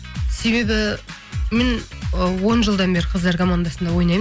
себебі мен ы он жылдан бері қыздар командасында ойнаймын